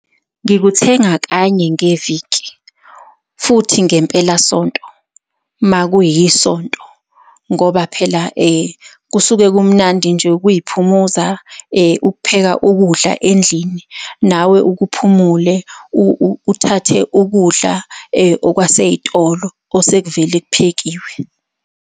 Nikuthenga kanye ngeviki, futhi ngempelasonto, uma kuyiSonto. Ngoba phela , kusuke kumnandi nje ukuy'phumuza, ukupheka ukudla endlini, nawe uke uphumule, uthathe ukudla okwasey'tolo osekuvelele kuphekiwe.